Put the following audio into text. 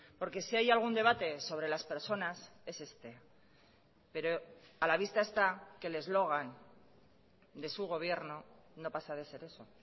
porque si hay algún debate sobre las personas es este pero a la vista está que el eslogan de su gobierno no pasa de ser eso